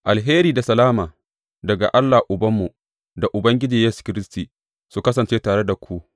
Alheri da salama daga Allah Ubanmu da Ubangiji Yesu Kiristi, su kasance tare da ku.